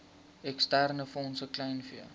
eksterne fondse kleinvee